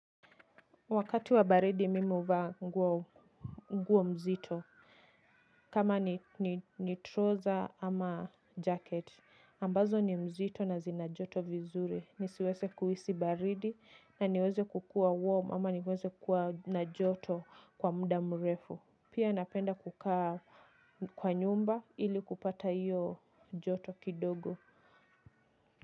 Wakati wa baridi mimi huvaa nguo mzito. Kama ni troza ama jacket. Ambazo ni mzito na zina joto vizuri. Nisiweze kuhisi baridi na niweze kukua warm ama niweze kukua na joto kwa mda mrefu. Pia napenda kukaa kwa nyumba ili kupata iyo joto kidogo.